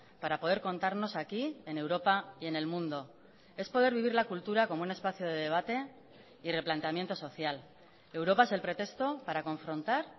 para poder contarnos aquí en europa y en el mundo es poder vivir la cultura como un espacio de debate y replanteamiento social europa es el pretexto para confrontar